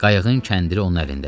Qayığın kəndili onun əlindədir.